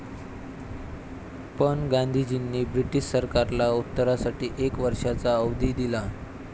पण गांधीजींनी ब्रिटिश सरकारला उत्तरासाठी एक वर्षाचा अवधी दिला.